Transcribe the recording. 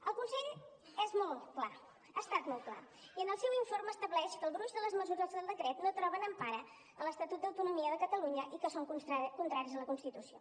el consell és molt clar ha estat molt clar i en el seu informe estableix que el gruix de les mesures del decret no troben empara en l’estatut d’autonomia de catalunya i que són contràries a la constitució